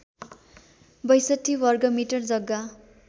६२ वर्गमिटर जग्गा